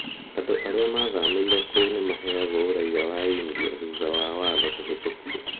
Andũ arĩa mathamĩire kũu nĩ maheagwo ũraiya wa India thutha wa watho kũhĩtũkwo.